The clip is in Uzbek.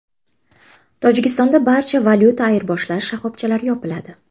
Tojikistonda barcha valyuta ayirboshlash shoxobchalari yopiladi.